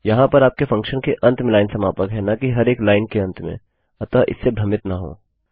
वहाँ पर आपके फंक्शन के अंत में लाइन समापक और न कि हर एक लाइन के अंत में अतः इससे भ्रमित न हों